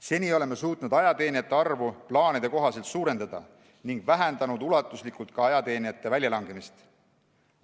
Seni oleme suutnud ajateenijate arvu plaanide kohaselt suurendada ning vähendanud ulatuslikult ajateenijate väljalangemist teenistusest.